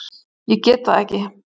Ég get það ekki